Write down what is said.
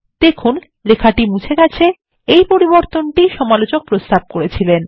দেখুন লেখাটি মুছে গেছে এই পরিবর্তনটি ই সমালোচক প্রস্তাব করেছিলেন